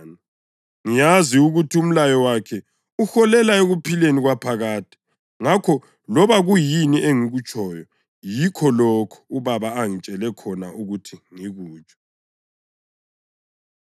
Ngiyazi ukuthi umlayo wakhe uholela ekuphileni kwaphakade. Ngakho loba kuyini engikutshoyo yikho lokho uBaba angitshele khona ukuthi ngikutsho.”